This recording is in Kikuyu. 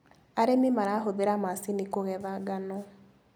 Arĩmi marahũthira macini kũgetha ngano.